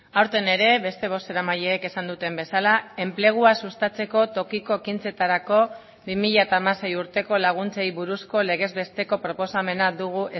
aurten ere beste bozeramaileek esan duten bezala enplegua sustatzeko tokiko ekintzetarako bi mila hamasei urteko laguntzei buruzko legez besteko proposamena dugu